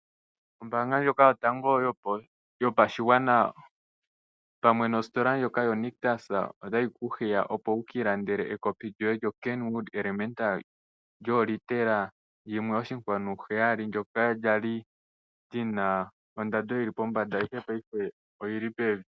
Ombaanga ndjoka yotango yopashigwana pamwe nositola ndjoka yoNictus otayi ku hiya opo wu ki ilandele ekpi lyoye Kenwood Elementa lyoolitela 1,7 ndyoka lya li lyina ondando yili pombanda, ashike paife oyili pevi.